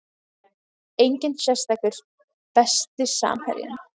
Enginn sérstakur Besti samherjinn?